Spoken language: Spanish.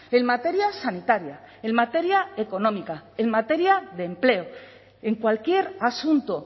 en materia sanitaria en materia económica en materia de empleo en cualquier asunto